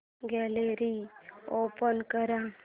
gallery open कर